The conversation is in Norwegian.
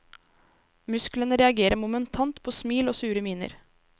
Musklene reagerer momentant på smil og sure miner.